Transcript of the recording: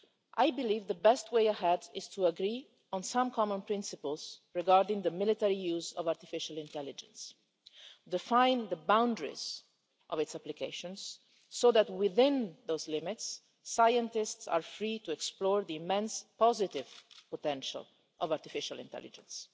I believe the best way ahead is to agree on some common principles regarding the military use of artificial intelligence, and to define the boundaries of its applications so that, within those limits, scientists are free to explore the immense positive potential of artificial intelligence.